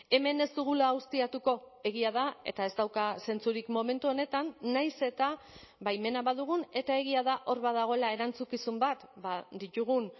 hemen ez dugula ustiatuko egia da eta ez dauka zentzurik momentu honetan nahiz eta baimena badugun eta egia da hor badagoela erantzukizun bat ditugun